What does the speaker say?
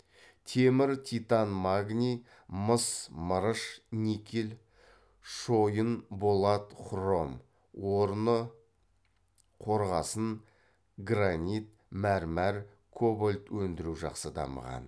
темір титан магний мыс мырыш никель шойын болат хром орны қорғасын гранит мәрмәр кобальт өндіру жақсы дамыған